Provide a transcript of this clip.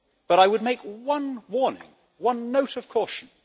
I would make one warning, one note of caution.